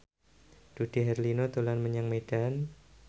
Dude Herlino dolan menyang Medan